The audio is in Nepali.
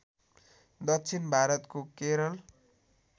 दक्षिण भारतको केरल